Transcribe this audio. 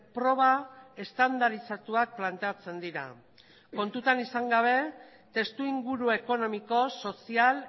proba estandarizatuak planteatzen dira kontuan izan gabe testuinguru ekonomiko sozial